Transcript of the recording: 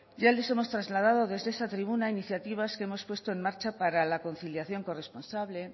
ya les hemos trasladado desde esta tribuna iniciativas que hemos puesto en marcha para la conciliación corresponsable